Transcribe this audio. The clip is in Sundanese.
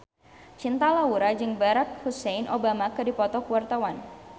Cinta Laura jeung Barack Hussein Obama keur dipoto ku wartawan